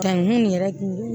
Ka nkun yɛrɛ